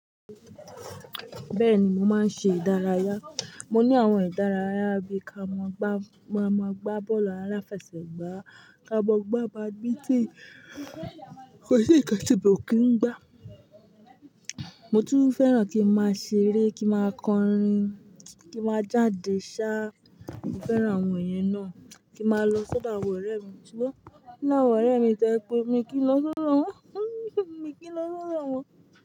Bẹ́ẹ̀ni, mo máa ń ṣe ìdárayá. Mo ní àwọn ìdárayá bí i ká mọ gbá, maa máa gbá bọ́ọ̀lù aláfẹsẹ̀gbá, ká mọ gbá badminton. Kò sí nnkan tí mi ò kí ń gbá. Motun fẹ́ràn ki n maa sere, ki n maa kọrin, ki n maa jade saa, mo fẹ́ràn àwon iyen naa kí n máa lọ sọdọ àwọn ọ̀rẹ́ mi. Sugbọn o làwọn ọ̀rẹ́ mi to jẹ pe mí kí n lọ sọdọ won, mí kí n lọ sọdọ won.